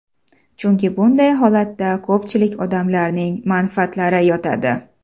Chunki bunday holatda ko‘pchilik odamlarning manfaatlari yotadi.